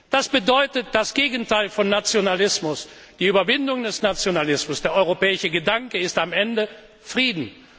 Das bedeutet, das Gegenteil von Nationalismus, die Überwindung des Nationalismus, der europäische Gedanke ist am Ende Frieden.